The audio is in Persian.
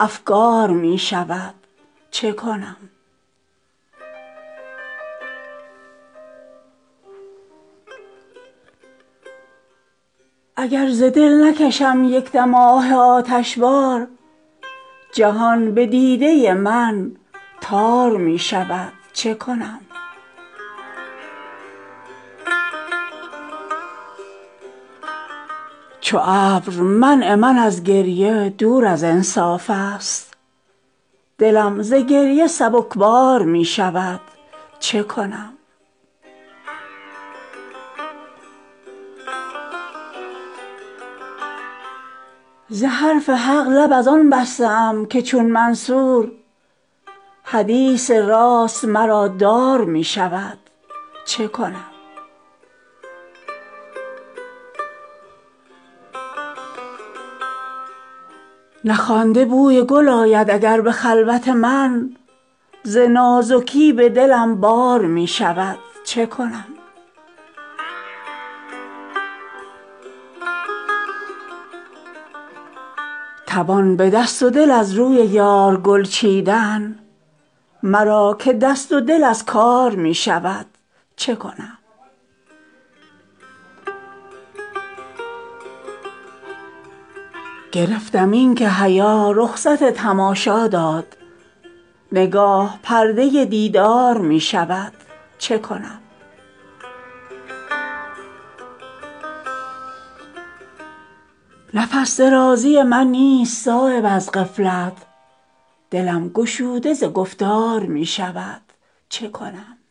افگار می شود چه کنم اگر ز دل نکشم یک دم آه آتش بار جهان به دیده من تار می شود چه کنم چو ابر منع من از گریه دور از انصاف است دلم ز گریه سبک بار می شود چه کنم به دردساختن من ز بی علاجی نیست دم مسیح به من بار می شود چه کنم ز حرف حق لب از آن بسته ام که چون منصور حدیث راست مرا دار می شود چه کنم اگر ز دل سخن راست بر زبان آرم پی گزیدن من مار می شود چه کنم ز دوستان گله من ز تنگ ظرفی نیست ز درد حوصله سرشار می شود چه کنم نخوانده بوی گل آید اگر به خلوت من ز نازکی به دلم بار می شود چه کنم بر آبگینه من بار نیست خاکستر ز روشنی دل من تار می شود چه کنم توان به دست ودل از روی یار گل چیدن مرا که دست و دل از کار می شود چه کنم گرفتم این که حیا رخصت تماشا دارد نگاه پرده دیدار می شود چه کنم درین حدیقه به غفلت نفس کشد هر کس دل چو آینه ام تار می شود چه کنم نفس درازی من نیست صایب از غفلت دلم گشوده ز گفتار می شود چه کنم